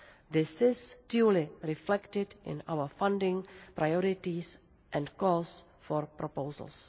This is duly reflected in our funding priorities and calls for proposals.